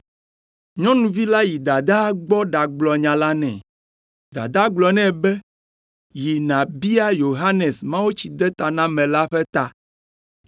Nyɔnuvi la yi dadaa gbɔ ɖagblɔ nya la nɛ. Dadaa gblɔ nɛ be, “Yi nàbia Yohanes Mawutsidetanamela ƒe ta.”